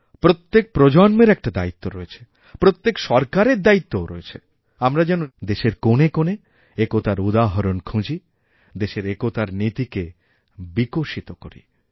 প্রত্যেক প্রজন্মেরএকটা দায়িত্ব রয়েছে প্রত্যেক সরকারের দায়িত্বও রয়েছে দেশের কোণে কোণে একতার উদাহরণখুঁজি দেশের একতার নীতিকে বিকশিত করি